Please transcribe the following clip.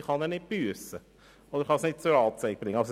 Man kann nicht büssen oder nicht zur Anzeige bringen.